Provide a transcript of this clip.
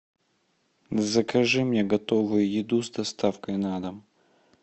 закажи мне готовую еду с доставкой на дом